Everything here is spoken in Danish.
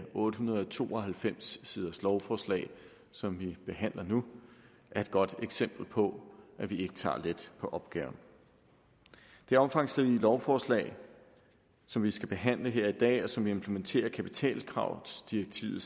otte hundrede og to og halvfems siders lovforslag som vi behandler nu er et godt eksempel på at vi ikke tager let på opgaven det omfangsrige lovforslag som vi behandler her i dag og som implementerer kapitalkravsdirektiv